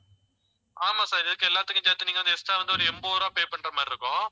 ஆமா sir இதுவரைக்கும் எல்லாத்துக்கும் சேர்த்து நீங்க வந்து extra வந்து ஒரு எண்பது ரூபாய் pay பண்ற மாதிரி இருக்கும்.